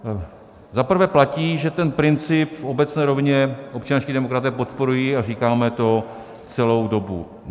Za prvé platí, že ten princip v obecné rovině občanští demokraté podporují a říkáme to celou dobu.